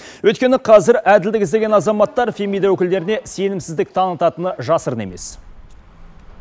өйткені қазір әділдік іздеген азаматтар фемида өкілдеріне сенімсіздік танытатыны жасырын емес